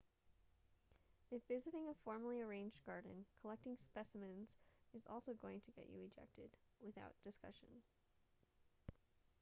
if visiting a formally arranged garden collecting specimens is also going to get you ejected without discussion